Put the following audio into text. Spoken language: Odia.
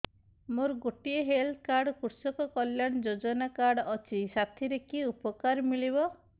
ମୋର ଗୋଟିଏ ହେଲ୍ଥ କାର୍ଡ କୃଷକ କଲ୍ୟାଣ ଯୋଜନା କାର୍ଡ ଅଛି ସାଥିରେ କି ଉପକାର ମିଳିବ